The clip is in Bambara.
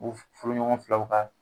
U furuɲɔgɔn filaw ka